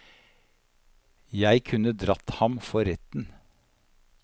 Jeg kunne dratt ham for retten.